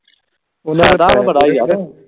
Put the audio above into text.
ਤੈਨੂੰ ਪਤਾ ਈ ਆ ਫਿਰ